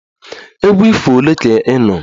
Egwu ifo ole ka ị nụrụ?